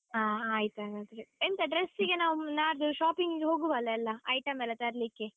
ಹಾ ಆಯ್ತು ಹಾಗಾದ್ರೆ, ಎಂತ dress ಗೆ ನಾವು ನಾಡ್ದು shopping ಗೆ ಹೋಗುವಲ್ಲ ಎಲ್ಲ item ಎಲ್ಲ ತರ್ಲಿಕ್ಕೆ?